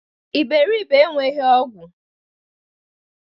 Iberibe enweghị ogwu!